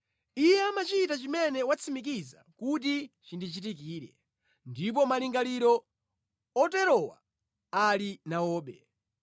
Iye amachita chimene watsimikiza kuti chindichitikire, ndipo malingaliro oterowa ali nawobe.